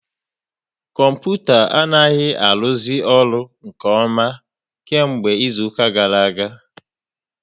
Kọmputa anaghị aruzi ọrụ nke ọma kemgbe izuka gara aga